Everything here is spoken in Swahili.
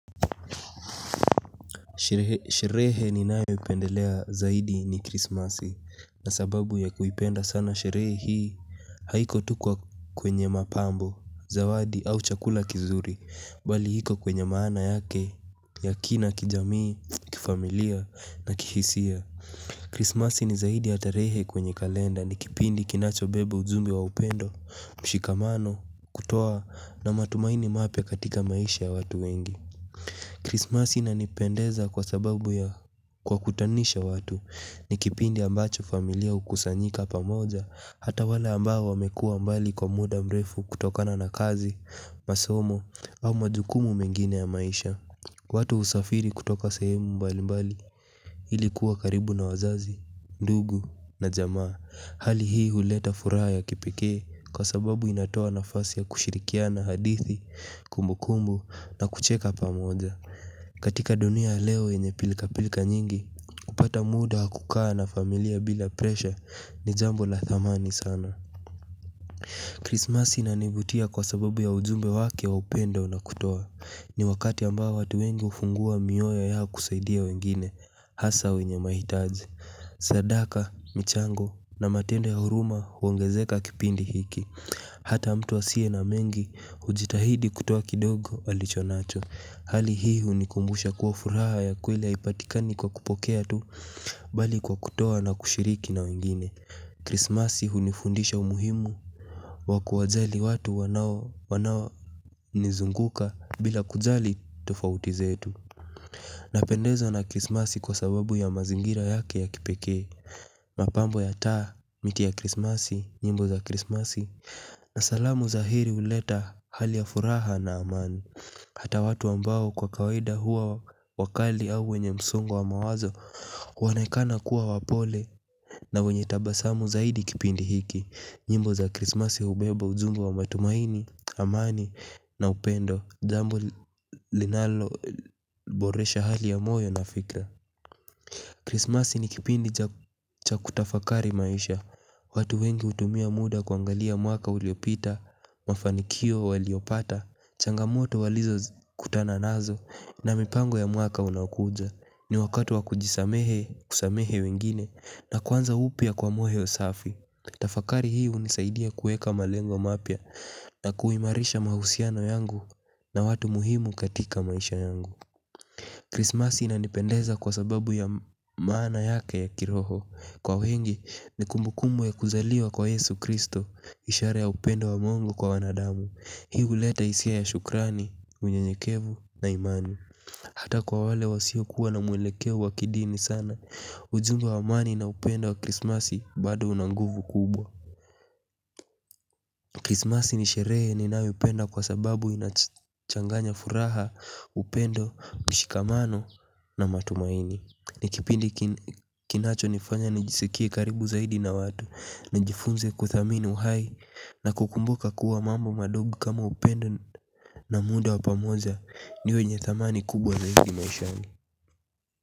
Sherehe ninayoipendelea zaidi ni krismasi na sababu ya kuipenda sana sherehe hii haiko tu kwenye mapambo zawadi, au chakula kizuri bali iko kwenye maana yake ya kina kijamii, kifamilia, na kihisia Krismasi ni zaidi ya tarehe kwenye kalenda ni kipindi kinachobeba ujumbe wa upendo, mshikamano, kutoa na matumaini mapya katika maisha ya watu wengi Krismasi inanipendeza kwa sababu ya kuwakutanisha watu. Ni kipindi ambacho familia hukusanyika pamoja hata wale ambao wamekua mbali kwa muda mrefu kutokana na kazi, masomo au majukumu mengine ya maisha. Watu husafiri kutoka sehemu mbali mbali ili kuwa karibu na wazazi, ndugu na jamaa. Hali hii huleta furaha ya kipekee kwa sababu inatoa nafasi ya kushirikiana hadithi, kumbukumbu, na kucheka pamoja. Katika dunia ya leo yenye pilka-pilka nyingi, kupata muda wa kukaa na familia bila presha ni jambo la thamani sana. Krismasi inanivutia kwa sababu ya ujumbe wake wa upendo na kutoa. Ni wakati ambao watu wengi hufungua mioyo yao kusaidia wengine, hasa wenye mahitaji. Sadaka, michango na matendo ya huruma huongezeka kipindi hiki. Hata mtu asiye na mengi, hujitahidi kutoa kidogo alichonacho. Hali hii hunikumbusha kuwa furaha ya kweli haipatikani kwa kupokea tu bali kwa kutoa na kushiriki na wengine. Krismasi hunifundisha umuhimu wa kuwajali watu wanao nizunguka bila kujali tofauti zetu. Napendezwa na krismasi kwa sababu ya mazingira yake ya kipeke. Mapambo ya taa, miti ya krismasi, nyimbo za krismasi na salamu za heri huleta hali ya furaha na amani. Hata watu ambao kwa kawaida huwa wakali au wenye msongo wa mawazo huonekana kuwa wapole na wenye tabasamu zaidi kipindi hiki. Nyimbo za krismasi hubeba ujumbe wa matumaini, amani na upendo. Jambo linaloboresha hali ya moyo na fikra. Krismasi ni kipindi cha kutafakari maisha. Watu wengi hutumia muda kuangalia mwaka uliopita mafanikio waliopata, vhangamoto walizokutana nazo na mipango ya mwaka unaokuja. Ni wakatu wa kujisamehe, kusamehe wengine na kwanza upya kwa moyo safi. Tafakari hii hunisaidia kuweka malengo mapya na kuimarisha mahusiano yangu na watu muhimu katika maisha yangu Krismas inanipendeza kwa sababu ya maana yake ya kiroho. Kwa wengi ni kumbukumbu ya kuzaliwa kwa Yesu Kristo. Ishara ya upendo wa Mungu kwa wanadamu. Hii huleta hisia ya shukrani, unyenyekevu na imani. Hata kwa wale wasiokuwa na mwelekeo wa kidini sana ujumbe wa amani na upendo wa krismasi bado una nguvu kubwa Krismasi ni sherehe ninayoipenda kwa sababu inachanganya furaha, upendo, mshikamano na matumaini. Ni kipindi kinachonifanya nijisikie karibu zaidi na watu, nijifunze kuthamini uhai na kukumbuka kuwa mambo madogo kama upendo na muda wa pamoja. Ni wenye thamani kubwa zaidi maishani.